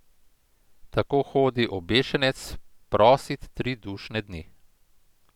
Tako hodi obešenec prosit tri dušne dni.